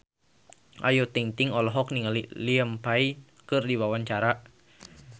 Ayu Ting-ting olohok ningali Liam Payne keur diwawancara